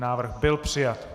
Návrh byl přijat.